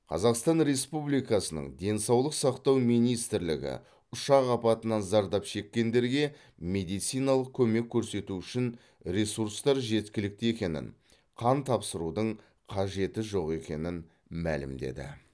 қазақстан республикасының денсаулық сақтау министрлігі ұшақ апатынан зардап шеккендерге медициналық көмек көрсету үшін ресурстар жеткілікті екенін қан тапсырудың қажеті жоқ екенін мәлімдеді